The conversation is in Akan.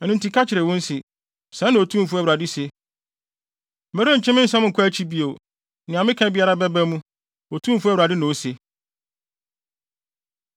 “Ɛno nti ka kyerɛ wɔn se, ‘Sɛɛ na Otumfo Awurade se: Merentwe me nsɛm nkɔ kyi bio, nea meka biara bɛba mu, Otumfo Awurade na ose.’ ”